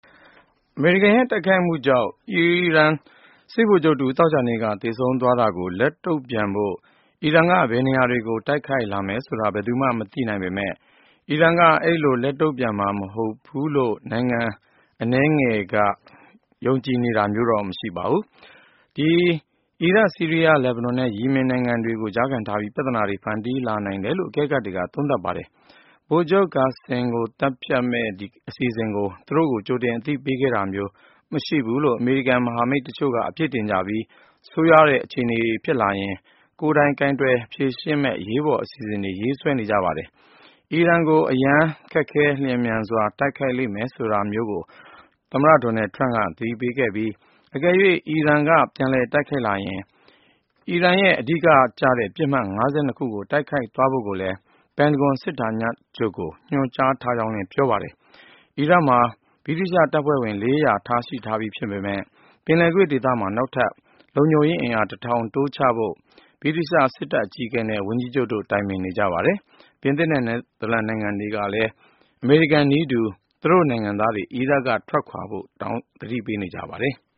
အမေရိကန်ရဲ့ တိုက်ခိုက်မှုကြောင့် အီရန် စစ်ဗိုလ်ချုပ်တဦး သောကြာနေ့က သေဆုံးသွားတာကို လက်တုံ့ပြန်ဖို့ အီရန်က ဘယ်နေရာတွေကို တိုက်ခိုက်လာမယ်ဆိုတာ ဘယ်သူမှ မသိနိုင်ပေမယ့် အီရန်က အဲဒီလို လက်တုံ့ပြန်မှာ မဟုတ်ဘူးလို့ ယုံကြည်သူ မရှိသလောက် ဖြစ်နေပါတယ်။ အီရတ်၊ ဆီးရီးယား၊ လက်ဘနွန်နဲ့ ယီမင်နိုင်ငံတွေကို ကြားခံထားပြီး ပြဿနာတွေ ဖန်တီးလာနိုင်တယ်လို့ အကဲခတ်တွေက သုံးသပ်ပါတယ်။ ဗိုလ်ချုပ် Qassem Soleimani ကိုသတ်မယ့် အစီအစဉ်ကို သူတို့ ကြိုတင်မသိခဲ့ရဘူးလို့ အမေရိကန်ရဲ့ မဟာမိတ်တချို့က အပြစ်တင်ကြပြီး ဆိုးရွားတဲ့ အခြေအနေ ဖြစ်လာရင် ကိုင်တွယ်နိုင်ဖို့ အရေးပေါ်အစီအစဉ်တွေ ရေးဆွဲထားကြပါတယ်။ အီရန်ကို “အရမ်းခက်ခဲ လျင်မြန်စွာ” တိုက်ခိုက်လိမ့်မယ်လို့ သမ္မတ Donald Trump က သတိပေးခဲ့ပြီး အကယ်၍ အီရန်က ပြန်တိုက်လာရင် အီရန်ရဲ့ အဓိကကျတဲ့ ပစ်မှတ် ၅၂ ခုကို တိုက်ခိုက်သွားဖို့ ပင်တဂွန်စစ်ဌာနချုပ်ကို ညွှန်ကြားထားကြောင်းလည်း ပြောပါတယ်။ အီရတ်မှာ ဗြိတိသျှတပ်ဖွဲ့ဝင် ၄၀၀ ရှိထားပေမယ့် ပင်လယ်ကွေ့ဒေသမှာ နောက်ထပ် ၁၀၀၀ လုံခြုံရေးတိုးချဖို့ ဗြိတိသျှ စစ်တပ်အကြီးအကဲက ဝန်ကြီးချုပ်နဲ့ တိုင်ပင်နေပါတယ်။ ပြင်သစ်နဲ့ နယ်သာလန်နိုင်ငံတွေကလည်း အမေရိကန်နည်းတူ သူတို့နိုင်ငံသားတွေ အီရတ်က ထွက်ခွာကြဖို့ သတိပေးထားပါတယ်။